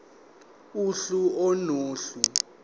uhlu a nohlu